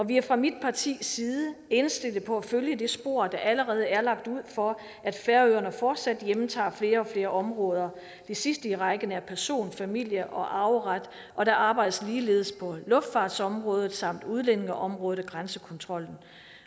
vi er fra mit partis side indstillet på at følge det spor der allerede er lagt ud for at færøerne fortsat hjemtager flere og flere områder det sidste i rækken er person familie og arveret og der arbejdes ligeledes på luftfartsområdet samt udlændingeområdet og grænsekontrollen